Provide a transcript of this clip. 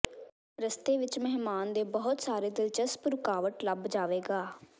ਰਸਤੇ ਵਿੱਚ ਮਹਿਮਾਨ ਦੇ ਬਹੁਤ ਸਾਰੇ ਦਿਲਚਸਪ ਰੁਕਾਵਟ ਲੱਭ ਜਾਵੇਗਾ